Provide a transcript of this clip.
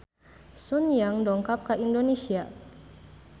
Sun Yang dongkap ka Indonesia